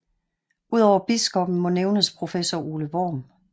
Udover biskoppen må nævnes professor Ole Worm